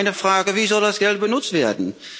Meine Frage Wie soll das Geld genutzt werden?